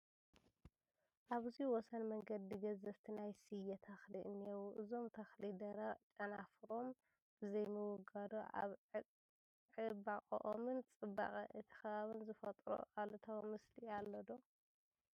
ኣብዚ ወሰን መንገዲ ገዘፍቲ ናይ ስየ ተኽሊ እኔዉ፡፡ እዞም ተኽሊ ደረቕ ጨናፍሮም ብዘይምውጋዱ ኣብ ዕባቕኦምን ፅባቐ እቲ ከባብን ዝፈጠሮ ኣሉታዊ ምስሊ ኣሎ ዶ?